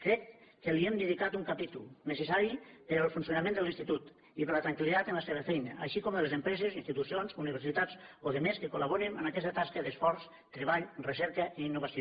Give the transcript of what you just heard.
crec que li hem dedicat un capítol necessari per al funcionament de l’institut i per a la tranquil·litat en la seva feina així com de les empreses institucions universitats o altres que col·laborin en aquesta tasca d’esforç treball recerca i innovació